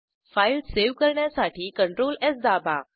file save करण्यासाठी CTRL स् दाबा